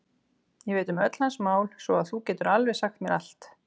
Ég veit um öll hans mál svo að þú getur alveg sagt mér allt.